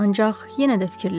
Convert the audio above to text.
ancaq yenə də fikirləş.